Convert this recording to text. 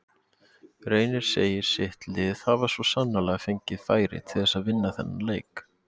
Reynir segir sitt lið hafi svo sannarlega fengið færi til þess að vinna þennan leik.